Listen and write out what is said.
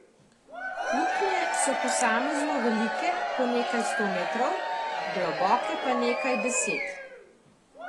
Luknje so posamezno velike po nekaj sto metrov, globoke pa nekaj deset.